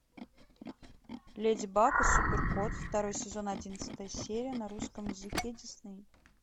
леди баг и супер кот второй сезон одиннадцатая серия на русском языке дисней